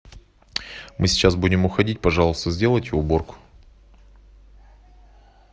мы сейчас будем уходить пожалуйста сделайте уборку